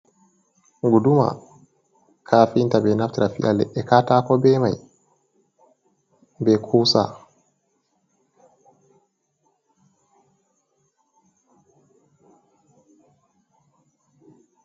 Guduma kafinta ɓeɗo naftra fiya leɗɗe katako bei mai bei kusa.